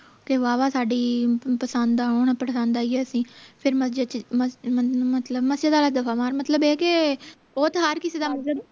ਤੇ ਵਾਹਵਾ ਸਾਡੀ ਪਸੰਦ ਆਉਣ ਪਸੰਦ ਆਈਏ ਅਸੀਂ ਫੇਰ ਮਸਜਿਦ ਚ ਮਸਜਿਦ ਆਲਾ ਦਫ਼ਾ ਮਾਰ ਮਤਲਬ ਇਹ ਕੇ ਉਹ ਤਾਂ ਹਰ ਕਿਸੇ ਦਾ ਮਜਹਬ